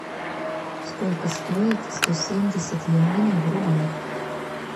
сколько стоит сто семьдесят юаней в рублях